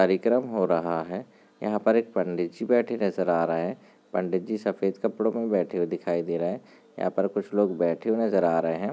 कारिक्रम हो रहा है यहां पर एक पंडित जी बैठे नजर आ रहे हैं पंडित जी सफेद कपड़ों में बैठे दिखाई दे रहे हैं यहां पर कुछ लोग हुए बैठे नजर आ रहे हैं।